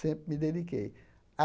Sempre me dediquei.